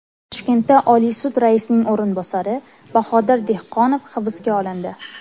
Toshkentda Oliy sud raisining o‘rinbosari Bahodir Dehqonov hibsga olindi.